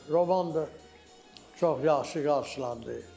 Roman da çox yaxşı qarşılandı.